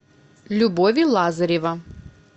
любови лазарева